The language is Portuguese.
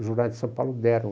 O Jornais de São Paulo deram.